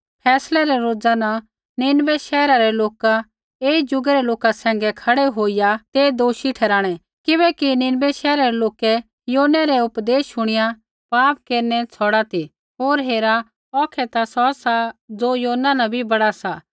फैसलै रै रोज़ा न नीनवै शैहरा रै लोका ऐई जुगै रै लोका सैंघै खड़ै होईया ते दोषी ठहराणै किबैकि निनवै शैहरै रै लोकै योनै रै उपदेश शुणिया पाप केरनै छ़ौड़ै ती होर हेरा औखै ता सौ सा ज़ो योना न भी बड़ा सा